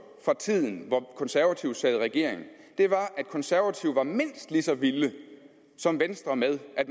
fra tiden hvor konservative sad i regering er at de konservative var mindst lige så vilde som venstre med at